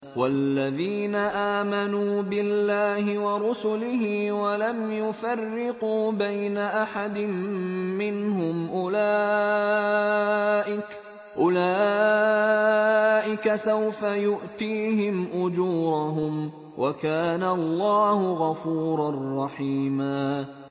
وَالَّذِينَ آمَنُوا بِاللَّهِ وَرُسُلِهِ وَلَمْ يُفَرِّقُوا بَيْنَ أَحَدٍ مِّنْهُمْ أُولَٰئِكَ سَوْفَ يُؤْتِيهِمْ أُجُورَهُمْ ۗ وَكَانَ اللَّهُ غَفُورًا رَّحِيمًا